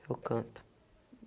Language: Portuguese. Eu canto.